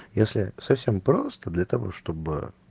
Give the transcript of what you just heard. если совсем просто для того чтобы